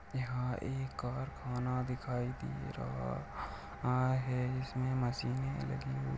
यहाँ एक कारखाना दिखाई दे रहा है इसमें मशीने लगी हुई--